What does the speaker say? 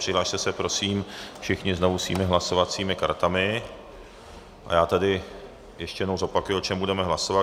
Přihlaste se prosím všichni znovu svými hlasovacími kartami a já tedy ještě jednou zopakuji, o čem budeme hlasovat.